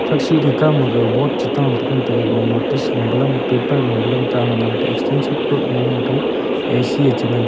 thak chi the kawmaga board chu ta tengan taiga notice lo balang paper lo balang taiya extension code loe gnan taiya A_C e chengan taiga.